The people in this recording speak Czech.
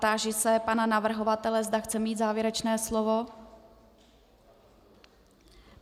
Táži se pana navrhovatele, zda chce mít závěrečné slovo.